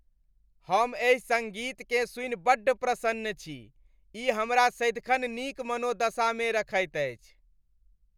हम एहि सङ्गीतकेँ सुनि बड्ड प्रसन्न छी। ई हमरा सदिखन नीक मनोदशामे रखैत अछि।